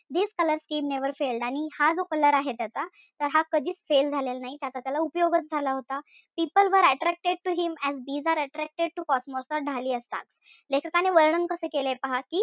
This color scheme never failed आणि हां जो color आहे त्याचा तर हा कधीच fail झालेला नाही. त्याचा त्याला उपयोगच झाला होता. People were attracted to him as bees are attracted to cosmos or dhalia stalks लेखकाने वर्णन कसे केले पहा कि,